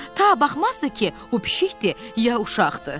Ta baxmazdı ki, bu pişikdir, ya uşaqdır.